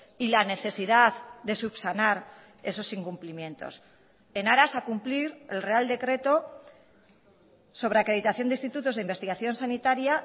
y la necesidad de subsanar esos incumplimientos en aras a cumplir el real decreto sobre acreditación de institutos de investigación sanitaria